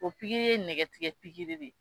O pikiri ye nɛgɛtigɛ pikiri de